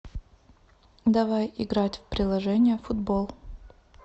давай играть в приложение футбол